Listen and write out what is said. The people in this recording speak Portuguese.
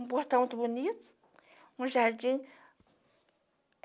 um portão muito bonito, um jardim.